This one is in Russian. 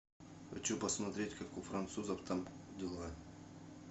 хочу посмотреть как у французов там дела